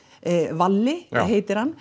Valli heitir hann